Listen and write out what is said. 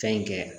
Fɛn in kɛ